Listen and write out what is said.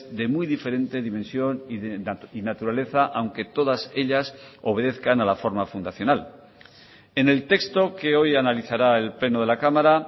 de muy diferente dimensión y naturaleza aunque todas ellas obedezcan a la forma fundacional en el texto que hoy analizará el pleno de la cámara